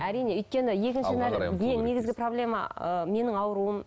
әрине өйткені негізгі проблема ы менің ауруым